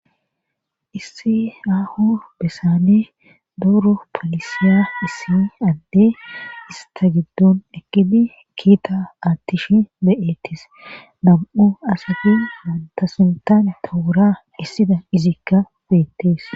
issi ahu besane duru polisiya issi adde ista giddun ekidi kiita aattish be7ettis nam7u asafi wantasuntan towora issida izikka beettees